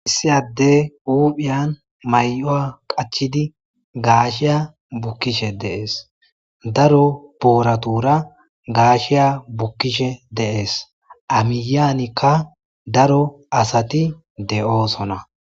issi addey huphiyan may'wa qachidi gaashiya bukkishe de'es daro booratura gaashiya bukkishe de'es amiyanikka daro asati de'oosona